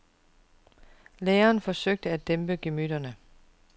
Læreren forsøgte at dæmpe gemytterne.